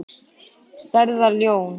Stærðar lón.